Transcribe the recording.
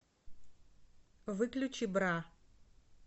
выключи бра